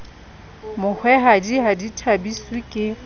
mohwehadi ha di thabiswe ke